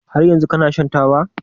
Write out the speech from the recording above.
Har yanzu kana shan taba?